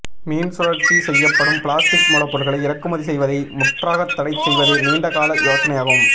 மீள் சுழற்சி செய்யப்படும் பிளாஸ்டிக் மூலப்பொருட்களை இறக்குமதி செய்வதை முற்றாகத் தடை செய்வது நீண்ட கால யோசனையாகும்